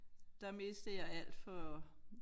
Der mistede jeg alt for